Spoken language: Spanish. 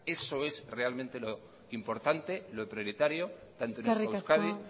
eso es realmente lo importante lo prioritario eskerrik asko maneiro jauna tanto en euskadi